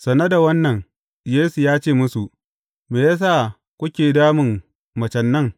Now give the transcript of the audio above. Sane da wannan, Yesu ya ce musu, Me ya sa kuke damun macen nan?